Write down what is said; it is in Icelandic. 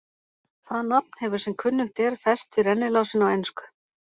Það nafn hefur sem kunnugt er fest við rennilásinn á ensku.